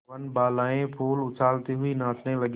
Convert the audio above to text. वनबालाएँ फूल उछालती हुई नाचने लगी